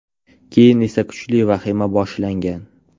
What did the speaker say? Keyin esa kuchli vahima boshlangan.